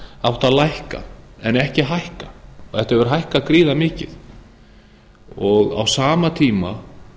átt að lækka en ekki hækka þetta hefur hækkað gríðarmikið á sama tíma